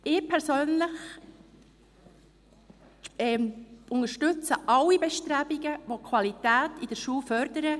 Ich persönlich unterstütze alle Bestrebungen, welche die Qualität in der Schule fördern.